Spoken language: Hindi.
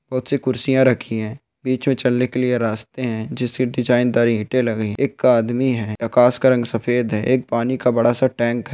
बहुत सी कुर्सिया रखी है बिच में चलने के लिए रास्ते है जिसपे डिजाईन दार इटे लगाई है एक आदमी है आकाश का रंग सफ़ेद है एक पानी की बड़ा सा टैंक है।